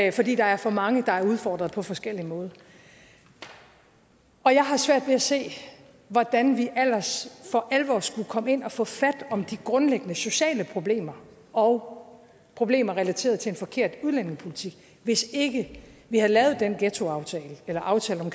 og fordi der er for mange der er udfordret på forskellig måde og jeg har svært ved at se hvordan vi ellers får alvor skulle komme ind og få fat om de grundlæggende sociale problemer og problemer relateret til en forkert udlændingepolitik hvis ikke vi havde lavet den ghettoaftale eller aftale om